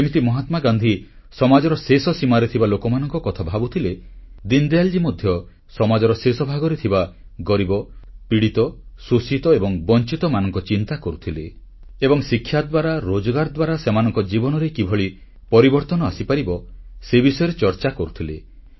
ଯେମିତି ମହାତ୍ମାଗାନ୍ଧୀ ସମାଜର ଶେଷ ସୀମାରେ ଥିବା ଲୋକମାନଙ୍କ କଥା ଭାବୁଥିଲେ ଦୀନଦୟାଲ ମଧ୍ୟ ସମାଜର ଶେଷ ଭାଗରେ ଥିବା ଗରିବ ପୀଡ଼ିତ ଶୋଷିତ ଏବଂ ବଂଚିତମାନଙ୍କ ଚିନ୍ତା କରୁଥିଲେ ଏବଂ ଶିକ୍ଷାଦ୍ୱାରା ରୋଜଗାର ଦ୍ୱାରା ସେମାନଙ୍କ ଜୀବନରେ କେମିତି ପରିବର୍ତ୍ତନ ଆସିପାରିବ ସେ ବିଷୟରେ ଚର୍ଚ୍ଚା କରୁଥିଲେ